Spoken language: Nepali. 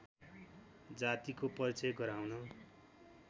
जातिको परिचय गराउन